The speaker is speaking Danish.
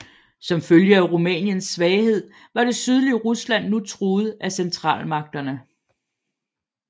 Som følge af Rumæniens svaghed var det sydlige Rusland nu truet af Centralmagterne